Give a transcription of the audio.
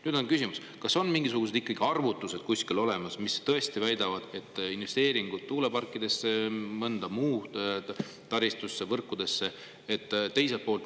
Nüüd on küsimus, kas kuskil on olemas mingisugused arvutused, mis tõesti väidavad, et investeeringud tuuleparkidesse, mõnda muusse taristusse, võrkudesse.